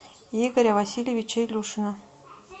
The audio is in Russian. игоря васильевича илюшина